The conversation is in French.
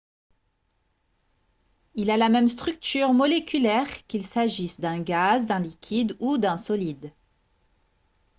il a la même structure moléculaire qu'il s'agisse d'un gaz d'un liquide ou d'un solide